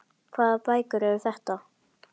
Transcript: Hvaða bækur eru þetta?